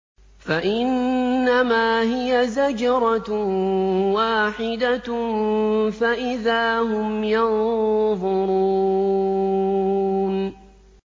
فَإِنَّمَا هِيَ زَجْرَةٌ وَاحِدَةٌ فَإِذَا هُمْ يَنظُرُونَ